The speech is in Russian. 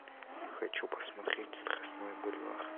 хочу посмотреть страстной бульвар